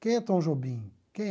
Quem é Tom Jobim? Quem